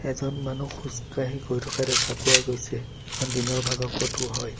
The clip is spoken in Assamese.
এজন মানুহ খোজকাঢ়ি গৈ থকা দেখা পোৱা গৈছে এইখন দিনৰ ভাগৰ ফটো হয়।